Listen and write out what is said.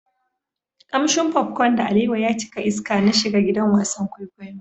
Kamshin popcorn da alewa ya cika iska na shiga gidan wasan kwaikwayo.